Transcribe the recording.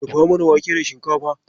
Dafa mana wake da shinkafa.